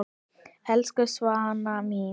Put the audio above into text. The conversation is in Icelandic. Elsku Svana mín.